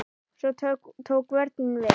Svo tók vörnin við.